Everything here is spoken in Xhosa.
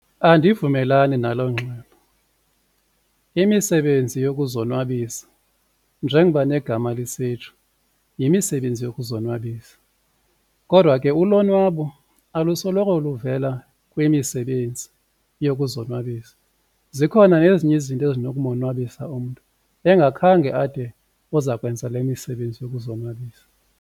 Andivumelani nalo ngxelo. Imisebenzi yokuzonwabisa njengoba negama lisitsho yimisebenzi yokuzonwabisa, kodwa ke ulonwabo alusoloko luvela kwimisebenzi yokuzonwabisa zikhona nezinye izinto ezinokumonwabisa umntu engakhange ade uzakwenza le misebenzi yokuzonwabisa.